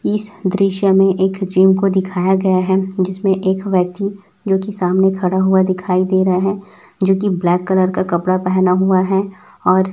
इस दृश्य में एक जिम को दिखाया गया है जिसमें एक व्यक्ति जोकि सामने खड़ा हुआ दिखाई दे रहा है जोकि ब्लैक कलर का कपड़ा पहना हुआ है और--